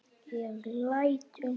Ég læt undan.